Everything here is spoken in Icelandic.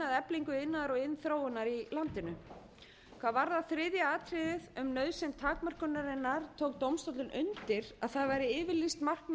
eflingu iðnaðar og iðnþróunar í landinu hvað varðar þriðja atriðið um nauðsyn takmörkunarinnar tók dómstóllinn undir að það væri yfirlýst markmið